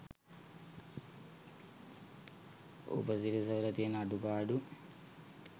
උපසිරැස වල තියන අඩුපාඩු